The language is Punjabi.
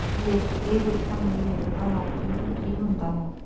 ਲੇਖਕ ਇਹ ਵੇਖਣ ਲਈ ਲਿਖਦਾ ਹੈ ਕਿ ਕੀ ਹੁੰਦਾ ਹੈ